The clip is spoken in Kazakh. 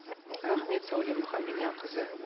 рахмет сәуле мұхамбедианқызы